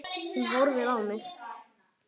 Hún horfir á mig.